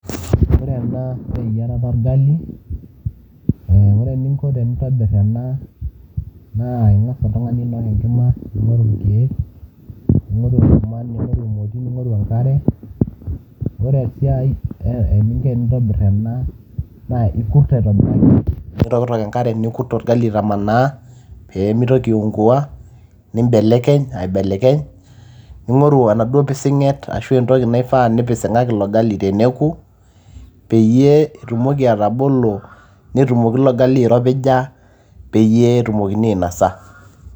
ore ena naa eyiarata orgali ore eninko tenintobirr ena naa ing'as oltung'ani ainok enkima ning'oru irkeek ning'oru enkurma ning'oru emoti ning'oru enkima, ore esiai eninko enintobirr ena naa ikurt aitobiraki nitokitok enkare nikurt orgali aitamanaa peemitoki aiungua nimbelekeny aibelekeny ning'oru enaduo pising'et ashua entoki naifaa nipising'aki ilo gali teneku peyie itumoki atabolo netumoki ilo gali airopija peyie etumokini ainosa.